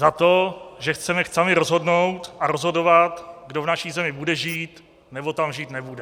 Za to, že chceme sami rozhodnout a rozhodovat, kdo v naší zemi bude žít, nebo tam žít nebude?